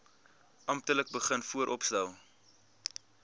amptelik begin vooropstel